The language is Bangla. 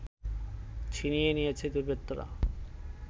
ছিনিয়ে নিয়েছে দুর্বৃত্তরা